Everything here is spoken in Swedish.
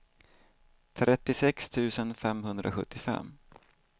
trettiosex tusen femhundrasjuttiofem